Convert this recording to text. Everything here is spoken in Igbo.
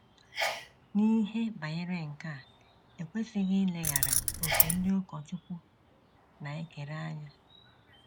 N’ihe banyere nke a, e kwesịghị ileghara òkè ndị ụkọchukwu na - ekere anya.